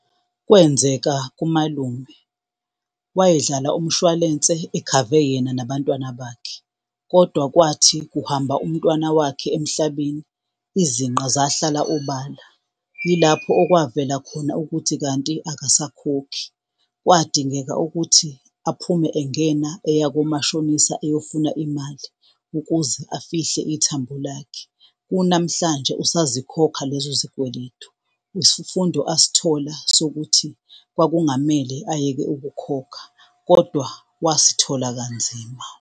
Kwenzeka kumalume, wayedlala umshwalense ekhave yena nabantwana bakhe, kodwa kwathi kuhamba umntwana wakhe emhlabeni, izinqa zahlala obala. Yilapho owavela khona ukuthi kanti akasakhokhi. Kwadingeka ukuthi aphume, engena eya komashonisa eyofuna imali ukuze afihle ithambo lakhe. Kunamhlanje usazokhokha lezo zikweletu. Isifundo asitholi sokuthi kwakungamele ayeke ukukhokha kodwa wasithola kanzima.